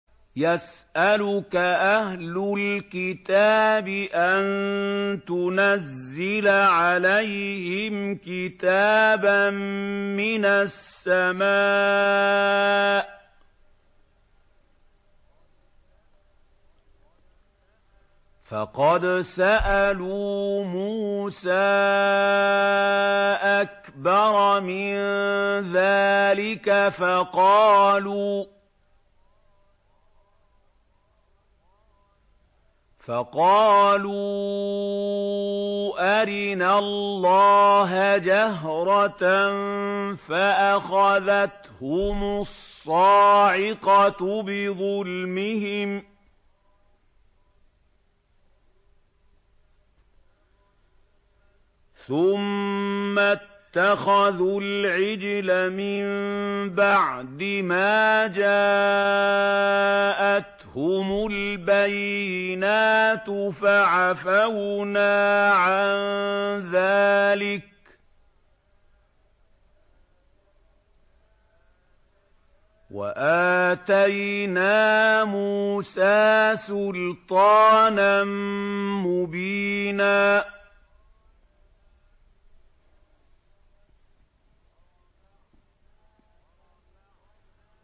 يَسْأَلُكَ أَهْلُ الْكِتَابِ أَن تُنَزِّلَ عَلَيْهِمْ كِتَابًا مِّنَ السَّمَاءِ ۚ فَقَدْ سَأَلُوا مُوسَىٰ أَكْبَرَ مِن ذَٰلِكَ فَقَالُوا أَرِنَا اللَّهَ جَهْرَةً فَأَخَذَتْهُمُ الصَّاعِقَةُ بِظُلْمِهِمْ ۚ ثُمَّ اتَّخَذُوا الْعِجْلَ مِن بَعْدِ مَا جَاءَتْهُمُ الْبَيِّنَاتُ فَعَفَوْنَا عَن ذَٰلِكَ ۚ وَآتَيْنَا مُوسَىٰ سُلْطَانًا مُّبِينًا